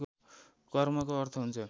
कर्मको अर्थ हुन्छ